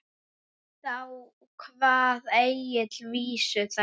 Þá kvað Egill vísu þessa